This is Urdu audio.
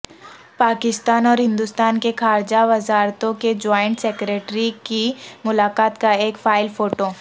پاکستان اور ہندوستان کے خارجہ وزارتوں کے جوائنٹ سکریٹری کی ملاقات کا ایک فائل فوٹو